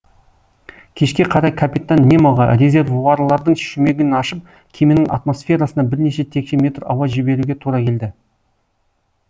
кешке қарай капитан немоға резервуарлардың шүмегін ашып кеменің атмосферасына бірнеше текше метр ауа жіберуге тура келді